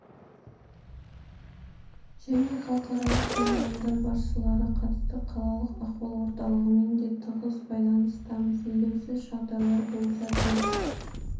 және халықаралық павильондар басшылары қатысты қалалық ахуал орталығымен де тығыз байланыстамыз елеусіз жағдайлар болса тез